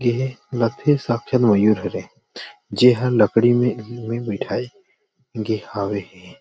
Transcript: ये लगथे साकछात मयूर हरे जेहा लकड़ी में बैठा गे हवे हे।